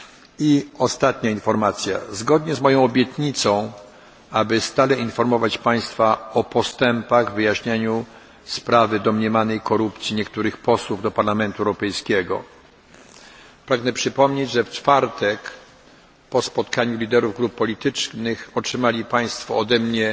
I ostatnia informacja zgodnie z moją obietnicą, aby stale informować Państwa o postępach w wyjaśnianiu sprawy domniemanej korupcji niektórych posłów do Parlamentu Europejskiego, pragnę przypomnieć, że w czwartek po spotkaniu liderów grup politycznych otrzymali Państwo ode